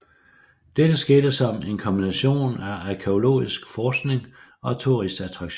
Dette skete som en kombination af arkæologisk forskning og turistattraktion